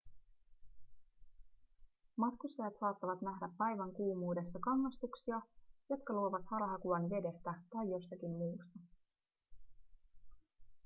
matkustajat saattavat nähdä päivän kuumuudessa kangastuksia jotka luovat harhakuvan vedestä tai jostakin muusta